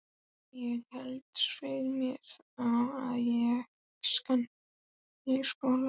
Ég held, svei mér þá, að ég sakni skólans.